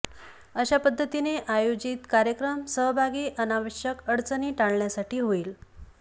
अशा पध्दतीने आयोजित कार्यक्रम सहभागी अनावश्यक अडचणी टाळण्यासाठी होईल